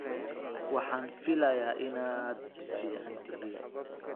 Waxaan filayaa inaad fican tihin.